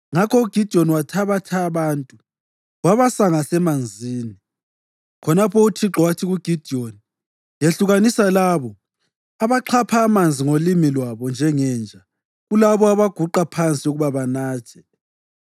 Ngakho uGidiyoni wabathatha abantu wabasa ngasemanzini. Khonapho uThixo wathi kuGidiyoni, “Yehlukanisa labo abaxhapha amanzi ngolimi lwabo njengenja kulabo abaguqa phansi ukuba banathe.”